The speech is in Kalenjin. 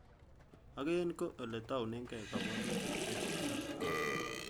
Ak en ko ele tounenge kobwotutiet nechigilat.